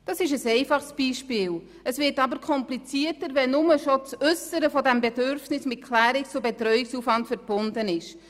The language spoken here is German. Das ist ein einfaches Beispiel, aber es wird komplizierter, wenn schon nur das Äussern eines Bedürfnisses mit Klärungs- und Betreuungsaufwand verbunden ist.